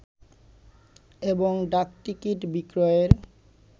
এবং ডাকটিকিট বিক্রয়ের